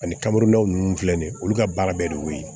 Ani kamurunnaw filɛ nin ye olu ka baara bɛɛ de y'o ye